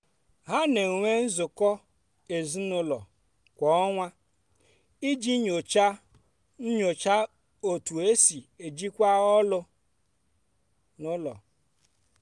ha na-enwe nnọkọ ezinụlọ kwa ọnwa iji nyochaa nyochaa otú e si ejikwa ọlụ n’ụlọ.